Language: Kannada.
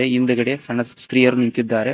ಈ ಹಿಂದ್ಗಡೆ ಸಣ್ಣ ಸ್ತ್ರೀಯರು ನಿಂತಿದ್ದಾರೆ.